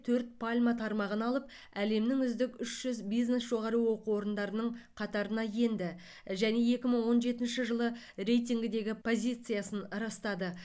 төрт пальма тармағын алып әлемнің үздік үш жүз бизнес жоғары оқу орындарының қатарына енді және екі мың он жетінші жылы рейтингідегі позициясын растады